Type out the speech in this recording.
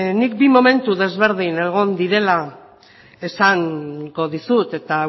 nik bi momentu ezberdin egon direla esango dizut eta